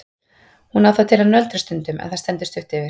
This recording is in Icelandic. Hún á það til að nöldra stundum en það stendur stutt yfir.